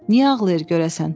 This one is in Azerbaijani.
Niyə ağlayır görəsən?